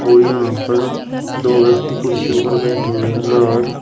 और यहां पर दो व्यक्ति कुर्सियों पर बैठे हुए हैं बाहर--